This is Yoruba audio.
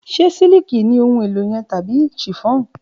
Ṣe siliki ohun elo yẹn tabi chiffon?